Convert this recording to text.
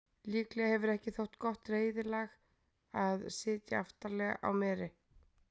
Líklega hefur ekki þótt gott reiðlag að sitja aftarlega á meri.